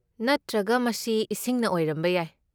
ꯅꯠꯇ꯭ꯔꯒ ꯃꯁꯤ ꯏꯁꯤꯡꯅ ꯑꯣꯏꯔꯝꯕ ꯌꯥꯏ?